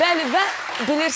Bəli, və bilirsiz.